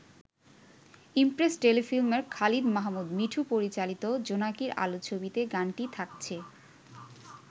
Impress টেলিফিল্মের খালিদ মাহমুদ মিঠু পরিচালিত 'জোনাকীর আলো' ছবিতে গানটি থাকছে।